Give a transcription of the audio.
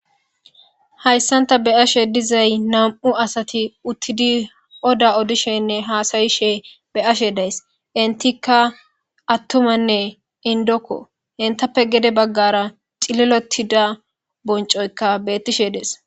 Hayssanta be ashe dizay nam'u asati uttidi oda odishenne haasayishe be ashe days intikka attumanne indokko entappe gede baggara xililotida boncoyka bettishe dees.